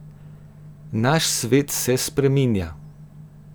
Naš svet se spreminja.